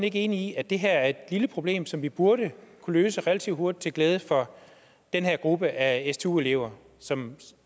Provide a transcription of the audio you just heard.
ikke enig i at det her er et lille problem som vi burde kunne løse relativt hurtigt til glæde for den her gruppe af stu elever som